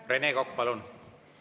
Rene Kokk, palun!